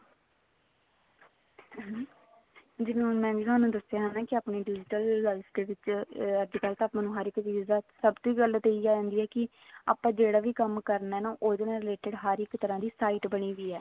ਜਿਵੇਂ ਮੈਂ ਹੁਣ ਥੋਨੂੰ ਦੱਸਿਆ ਨਾ ਵੀ ਆਪਣੀ digital life ਦੇ ਵਿੱਚ ਅੱਜਕਲ ਤਾਂ ਆਪਾਂ ਨੂੰ ਹਰ ਇੱਕ ਚੀਜ਼ ਦਾ ਸਭ ਦੀ ਗੱਲ ਤਾਂ ਇਹੀ ਆਉਂਦੀ ਆ ਕੀ ਆਪਾਂ ਜਿਹੜਾ ਵੀ ਕੰਮ ਕਰਨਾ ਹੈ ਨਾ ਉਹਦੇ ਨਾਲ related ਹਰ ਇੱਕ ਤਰ੍ਹਾਂ ਦੀ ਨਾ site ਬਣੀ ਹੋਈ ਹੈ